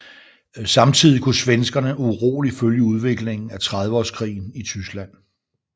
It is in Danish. Samtidigt kunne svenskerne uroligt følge udviklingen af Trediveårskrigen i Tyskland